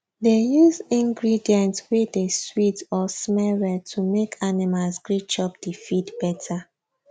dey use ingredients wey dey sweet or smell well to make animals gree chop di feed better